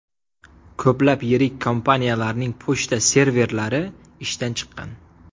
Ko‘plab yirik kompaniyalarning pochta serverlari ishdan chiqqan.